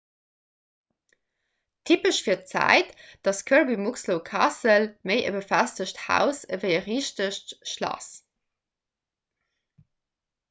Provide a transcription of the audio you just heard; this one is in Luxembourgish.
typesch fir d'zäit ass kirby muxloe castle méi e befestegt haus ewéi e richtegt schlass